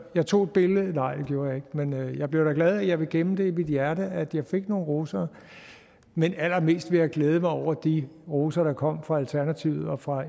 jeg tog et billede nej det gjorde jeg ikke men jeg blev da glad for jeg vil gemme det i mit hjerte at jeg fik nogle roser men allermest vil jeg glæde mig over de roser der kom fra alternativet og fra